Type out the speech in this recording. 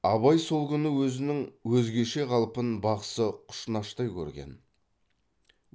абай сол күні өзінің өзгеше қалпын бақсы құшнаштай көрген